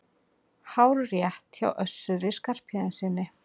Hárrétt hjá Össuri Skarphéðinssyni!